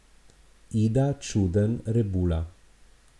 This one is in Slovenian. Ida Čuden Rebula.